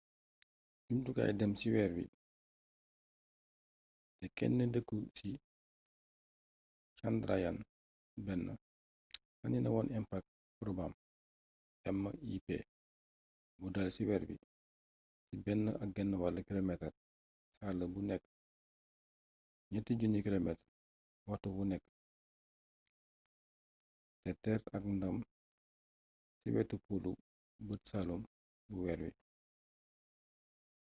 jumtukaay dem ci weer wit te kenn dëkku ci chandrayaan-1 sànni na moon impact probam mip bu dal ci weer bi ci 1,5 kilomeetar saala bu nekk 3000 kilomeetar waxtu wu nekk te teer ak ndam ci wetu polu bët saaalum bu weer bi